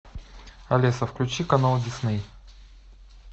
алиса включи канал дисней